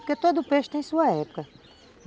Porque todo peixe tem sua época.